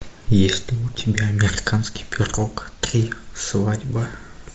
есть ли у тебя американский пирог три свадьба